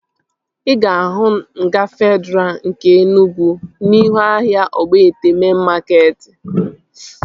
Ị ga-ahụ nga Fedraa nke Enugwu n'ihu ahịa Ogbete mein makeetị